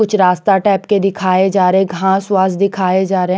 कुछ रास्ता टाइप के दिखाए जा रहे है घास वास दिखाए जा रहे है।